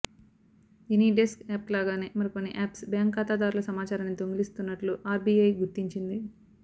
any desk యాప్లాగానే మరికొన్ని apps bank ఖాతాదారుల సమాచారాన్ని దొంగిలిస్తున్నట్లు ఆర్బీఐ గుర్తించింది